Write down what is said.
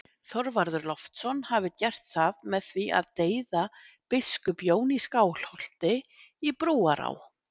Þorvarður Loftsson hafi gert það með því að deyða biskup Jón í Skálholti í Brúará